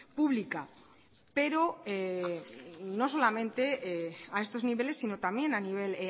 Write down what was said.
pública pero no solamente a estos niveles sino también a nivel